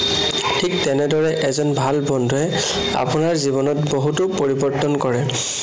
ঠিক তেনেদৰে এজন ভাল বন্ধুৱে আপোনাৰ জীৱনত বহুতো পৰিৱৰ্তন কৰে।